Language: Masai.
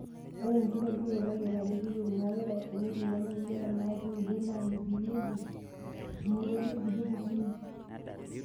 Ore enkitobirata tayiolo ajo iyieu; ng'apeta, eneti nemeng'era neeta udot naamitiki eejing' imotonyi okulie kukuni.